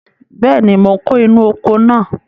Bẹ́ẹ̀ni, mò ń kó inú oko náà.